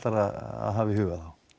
að hafa í huga